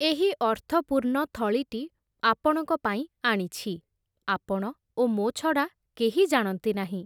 ଏହି ଅର୍ଥପୂର୍ଣ୍ଣ ଥଳିଟି, ଆପଣଙ୍କ ପାଇଁ ଆଣିଛି, ଆପଣ, ଓ ମୋ ଛଡ଼ା, କେହି ଜାଣନ୍ତି ନାହିଁ ।